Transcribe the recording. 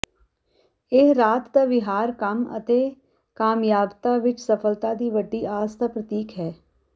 ਇਹ ਰਾਤ ਦਾ ਵਿਹਾਰ ਕੰਮ ਅਤੇ ਕਾਮਯਾਬਤਾ ਵਿੱਚ ਸਫਲਤਾ ਦੀ ਵੱਡੀ ਆਸ ਦਾ ਪ੍ਰਤੀਕ ਹੈ